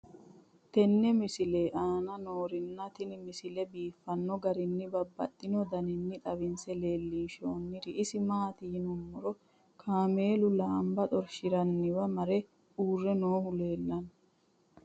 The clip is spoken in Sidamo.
tenne misile aana noorina tini misile biiffanno garinni babaxxinno daniinni xawisse leelishanori isi maati yinummoro kaammelu laanba xorishinnanniwa mare uure noohu leellanno